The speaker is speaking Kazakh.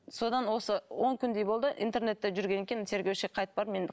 содан осы он күндей болды интернетте жүргеннен кейін тергеушіге қайтып бардым енді